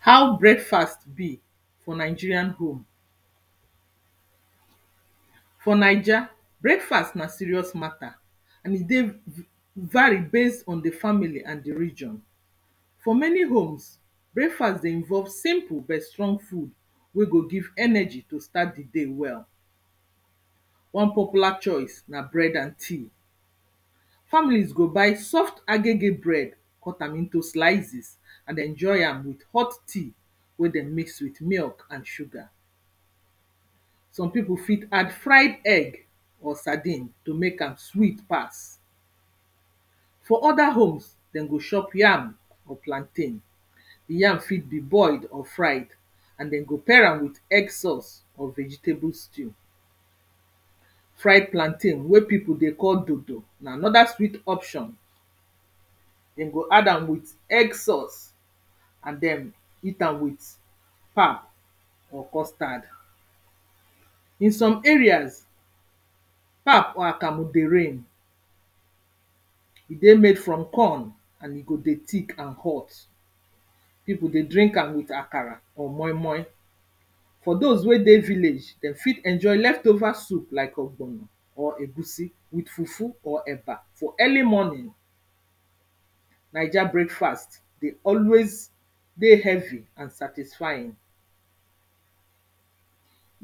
How breakfast be for Nigerian home. For naija breakfast na serious matter and e dey vari based on di family and di region. For many homes breakfast dey involve simple bet strong food wey go give energy to start di day well. One popular choice na bread and tea, families go buy soft agege bread cut am into slizes and den enjoy am with hot tea wey den mix with milk and sugar. Some pipo fit add fried egg or sardine to mek am sweet pass. For other homes dem go shop yam or plantain, yam fit be boiled or fried and den go pair am with egg sauce or vegetable stew. Fried plantain wey pipo dey call dodo na another sweet option, den go add am with egg sauce and den eat am with pap or custard. In some areas pap or akamu dey rain, e dey made from corn and e go dey thick and hot, pipo dey drink am with akara or moi moi. For dose wey dey village den fit enjoy leftover soup like ogbono or egusi with fufu or eba for early morning. Naija breakfast dey always dey heavy and satisfying,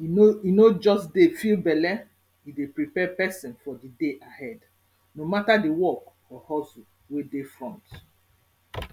e no just dey fill belle, e dey prepare person for di day ahead no matter di work or hustle wey dey front.